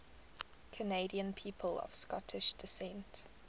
canadian people of scottish descent